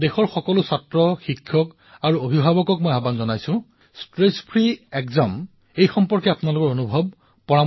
দেশৰ সকলো বিদ্যাৰ্থীক শিক্ষকক অভিভাৱকক মই আহ্বান জনাম যে আপোনালোকে মোক উদ্বেগবিহীন পৰীক্ষাৰ সৈতে জড়িত কথাসমূহ নিজৰ অনুভৱ পৰামৰ্শ যাতে মোক প্ৰদান কৰে